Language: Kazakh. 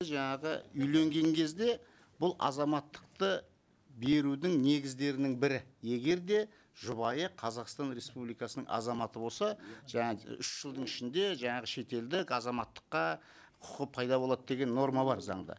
жаңағы үйленген кезде бұл азаматтықты берудің негіздерінің бірі егер де жұбайы қазақстан республикасының азаматы болса жаңа үш жылдың ішінде жаңағы шетелдік азаматтыққа құқы пайда болады деген норма бар заңда